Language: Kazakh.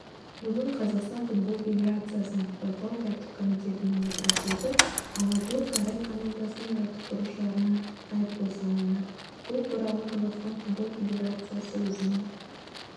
бүгін қазақстан футбол федерациясының бақылау-тәртіп комитетінің отырысы өтіп алматылық қайрат командасының жаттықтырушыларына айыппұл салынды бұл туралы қазақстан футбол федерациясы өзінің